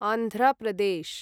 Andhra Pradesh